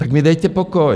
Tak mi dejte pokoj!